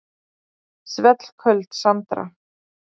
Svellköld Sandra.